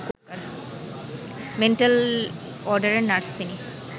mental ওয়ার্ডের nurse তিনি